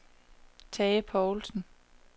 Tage Povlsen